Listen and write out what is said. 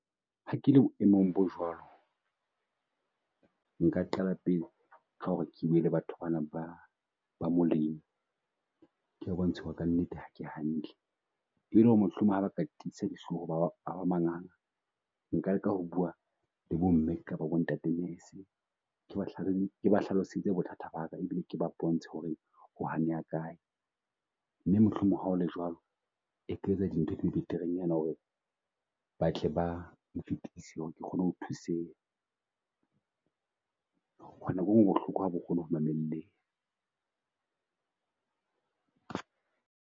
Ha ke le boemong bo jwalo, nka qala pele ka ho re ke bue le batho ba na ba ba mo leng ke ba bontshe ho re ka nnete ha ke hantle e le ho re mohlomong ha ba ka tiisa di hloho ba ba manganga, nka leka ho bua le bo mme kaba bo ntate . Ke ba hlalosetse bothata baka e bile ke ba bontshe ho re ho haneha kae, mme mohlomong ha o le jwalo, e ka etsa dintho di beterenyana ho re ba tle bang fitise kgone ho thuseha. Ho ba nko e nngwe bohloko ha bo kgone ho mamelleha.